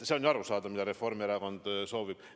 See on ju arusaadav, mida Reformierakond soovib.